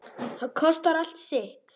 Það kostar allt sitt.